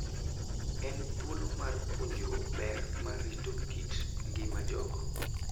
En thuolo mar puonjruok ber mar rito kit ngima jogo.